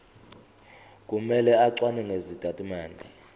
kumele acwaninge izitatimende